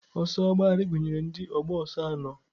Ọsọ agbagharị gụnyere ndị ọgba ọsọ anọ.